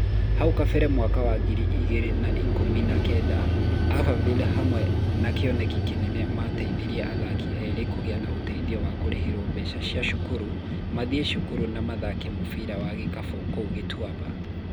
Hau kabere mwaka wa ngiri igĩrĩ na ikũmi na kenda Abanivire hamwe na Kĩoneki Kĩnene mateithirie athaki erĩ kũgĩa na ũteithio wa kũrĩhĩrwo mbeca cia cukuru mathie cukuru na mathake mũbira wa gikabũ kũu Gituaba.